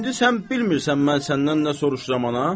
İndi sən bilmirsən mən səndən nə soruşuram, ana?